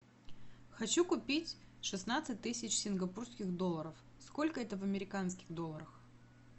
хочу купить шестнадцать тысяч сингапурских долларов сколько это в американских долларах